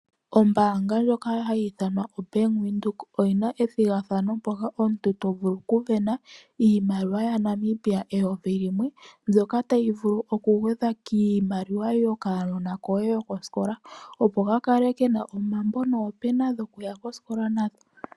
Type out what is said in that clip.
Ombanga lyoka hayi ithanwa oBank Windhoek oyi na ethigathano mpoka omuntu to vulu okusindana iimaliwa yaNamibia 1000. Iimaliwa oyo tu ndjika oto vulu okuyigwedha kiimaliwa yo kana koye yokoskola opo ka vule okukala kena omambo noopena dhokuya nadho koskola.